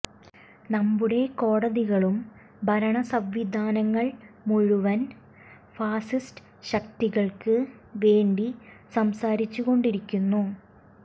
നമ്മുടെ കോടതികളും ഭരണ സംവിധാനങ്ങൾ മുഴുവൻ ഫാഷിസ്റ്റ് ശക്തികൾക്ക് വേണ്ടി സംസാരിച്ചു കൊണ്ടിരിക്കുന്നു